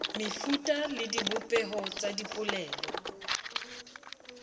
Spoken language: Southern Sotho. mefuta le dibopeho tsa dipolelo